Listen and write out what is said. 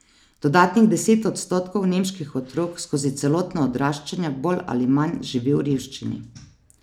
Dodatnih deset odstotkov nemških otrok skozi celotno odraščanje bolj ali manj živi v revščini.